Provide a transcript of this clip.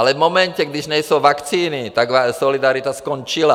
Ale v momentě, když nejsou vakcíny, tak solidarita skončila.